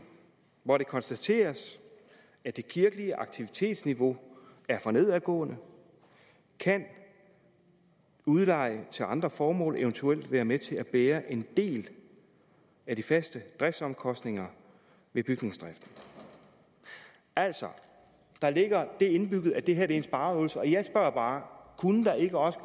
hvor det konstateres at det kirkelige aktivitetsniveau er for nedadgående kan udleje til andre formål eventuelt være med til at bære en del af de faste driftsomkostninger ved bygningsdriften altså der ligger det indbygget at det her er en spareøvelse og jeg spørger bare kunne der ikke også